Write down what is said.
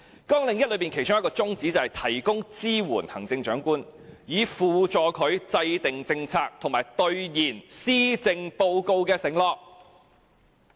綱領1其中一個宗旨是"提供支援予行政長官，以輔助他制定政策和兌現《施政報告》的承諾"。